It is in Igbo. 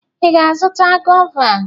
Ị ga-azụta gọva?